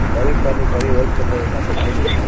கறி பாத்தா கறி wholesale லயே ஒரு நாற்பது kg எடுத்தாச்சு